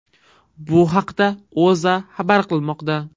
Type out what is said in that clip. Bu haqda O‘zA xabar qilmoqda .